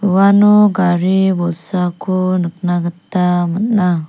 uano gari bolsako nikna gita man·a.